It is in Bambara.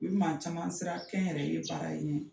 U bɛ maa caman siran kɛnyɛrɛye baara in ɲɛ.